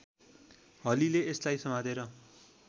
हलीले यसलाई समातेर